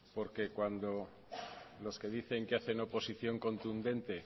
porque cuando los que dicen que hacen oposición contundente